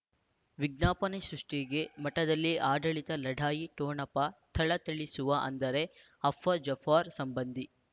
ವಿಜ್ಞಾಪನೆ ಸೃಷ್ಟಿಗೆ ಮಠದಲ್ಲಿ ಆಡಳಿತ ಲಢಾಯಿ ಠೊಣಪ ಥಳಥಳಿಸುವ ಅಂದರೆ ಅಫ ಜಾಫರ್ ಸಂಬಂಧಿ